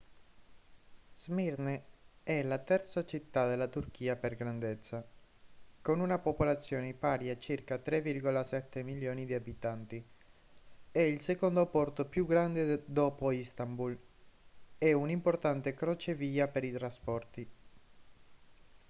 smirne è la terza città della turchia per grandezza con una popolazione pari a circa 3,7 milioni di abitanti è il secondo porto più grande dopo istanbul e un importante crocevia per i trasporti